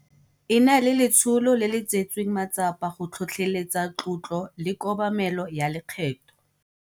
E na le letsholo le le tseetsweng matsapa go tlhotlheletsa tlotlo le kobamelo ya lekgetho.